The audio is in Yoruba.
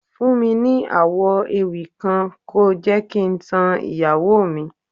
Fún mi ní àwọ̀ ewì kan, ko jẹ́ kí n tan ìyàwó mi.